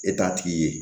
E t'a tigi ye